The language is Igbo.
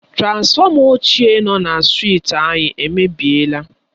Transfọma ochié nọ na strịti anyị èmèbịèlà